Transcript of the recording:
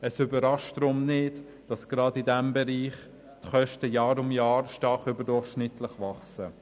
Deshalb überrascht es nicht, wenn gerade in diesem Bereich die Kosten Jahr für Jahr stark überdurchschnittlich wachsen.